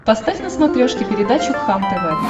поставь на смотрешке передачу кхлм тв